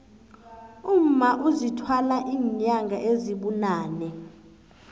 umma uzithwala inyanga ezibunane